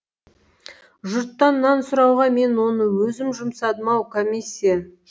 жұрттан нан сұрауға мен оны өзім жұмсадым ау комиссия